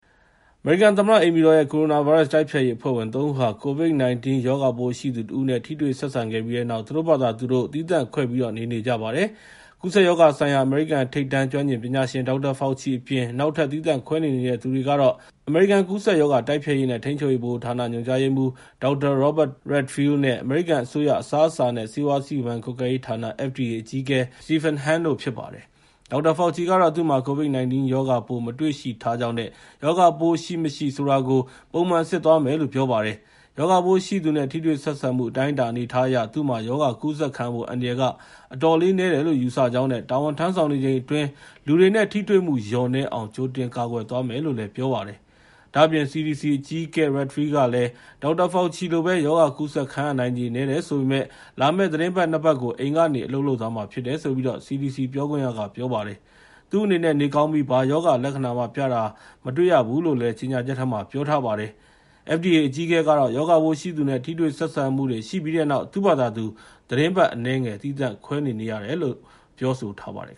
အမေရိကန်သမ္မတ အိမ်ဖြူတော်ရဲ့ ကိုရိုနာဗိုင်းရပ်စ် တိုက်ဖျက်ရေးအဖွဲ့ဝင် ၃ ဦးဟာ COVID-19 ရောဂါပိုးရှိသူတဦးနဲ့ ထိတွေ့ဆက်ဆံခဲ့ပြီးတဲ့နောက် သူတို့ဘာသာသူတို့ သီးသန့်ခွဲပြီး နေနေကြပါတယ်။ ကူးစက်ရောဂါဆိုင်ရာ အမေရိကန် ထိပ်တန်း ကျွမ်းကျင်ပညာရှင် Dr. Fauci အပြင် နောက်ထပ် သီးသန့်ခွဲနေနေတဲ့သူတွေကတော့ အမေရိကန် ကူးစက်ရောဂါ တိုက်ဖျက်ရေးနဲ့ ထိန်းချုပ်ရေး ဗဟိုဌာန ညွှန်ကြားရေးမှူး Dr. Robert Redfield နဲ့ အမေရိကန်အစိုးရ အစားအစာနဲ့ ဆေးဝါးစီမံကွပ်ကဲရေးဌာန (FDA) အကြီးအကဲ Stephen Hahn တို့ ဖြစ်ပါတယ်။ Dr. Fauci ကတော့ သူ့မှာ COVID-19 ရောဂါပိုး မတွေ့ရှိထားကြောင်းနဲ့ ရောဂါရှိမရှိ ဆိုတာကို ပုံမှန်စစ်သွားမယ်လို့ ပြောပါတယ်။ ရောဂါပိုးရှိသူနဲ့ ထိတွေ့ဆက်ဆံမှု အတိုင်းအတာ အနေအထားအရ သူ့မှာ ရောဂါကူးစက်ခံရဖို့ အန္တရာယ်က အတော်လေးနည်းတယ်လို့ ယူဆကြောင်းနဲ့ တာဝန်ထမ်းဆောင်နေချိန်အတွင်း လူတွေနဲ့ ထိတွေ့မှု လျော့နည်းအောင် ကြိုတင်ကာကွယ်သွားမယ်လို့လည်း ပြောပါတယ်။ ဒါ့အပြင် CDC အကြီးအကဲ Redfield လည်း Dr. Fauci လိုပဲ ရောဂါကူးစက်ခံရနိုင်ချေ နည်းတယ်ဆိုပေမယ့် လာမယ့် သီတင်းပတ် ၂ ပတ်ကို အိမ်ကနေပဲ အလုပ်လုပ်သွားမှာ ဖြစ်တယ်လို့ CDC ပြောခွင့်ရက ပြောပါတယ်။ သူ့အနေနဲ့ နေကောင်းပြီး ဘာရောဂါလက္ခဏာမှ ပြတာ မတွေ့ရဘူးလို့လည်း ကြေညာချက်ထဲမှာ ပြောထားပါတယ်။ FDA အကြီးအကဲကတော့ ရောဂါပိုးရှိသူနဲ့ ထိတွေ့ဆက်ဆံမှုတွေ ရှိခဲ့ပြီးနောက် သူ့ဘာသာသူ သီတင်းပတ်အနည်းငယ် သီးသန့်ခွဲနေနေတယ်လို့ ပြောဆိုထားပါတယ်